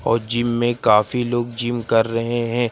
और जिम में काफी लोग जिम कर रहे है।